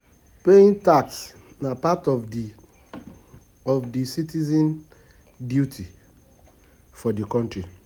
Paying tax na part of di, of di citizens duty for di country